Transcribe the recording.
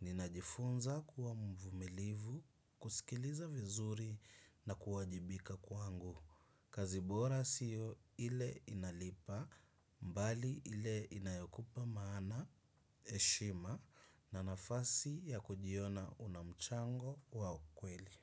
Ninajifunza kuwa mvumilivu, kusikiliza vizuri na kuwajibika kwangu. Kazi bora sio ile inalipa, bali ile inayokupa maana, heshima na nafasi ya kujiona unamchango wa ukweli.